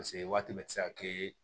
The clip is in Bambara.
Paseke waati bɛɛ ti se ka kɛ